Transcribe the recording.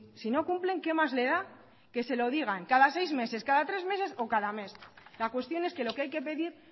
si no cumplen qué más le da que se lo digan cada seis meses cada tres meses o cada mes la cuestión es que lo que hay que pedir